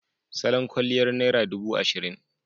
Salon kwalliyar naira dubu ashirin.